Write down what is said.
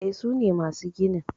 E, sune masu ginin